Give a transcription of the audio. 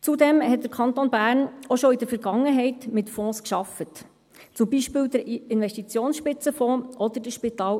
Zudem arbeitete der Kanton Bern bereits in der Vergangenheit mit Fonds, zum Beispiel mit dem Investitionsspitzenfonds oder dem SIF.